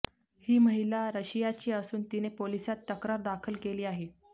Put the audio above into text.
ही महिला रशियाची असून तिने पोलिसांत तक्रार दाखल केली आहे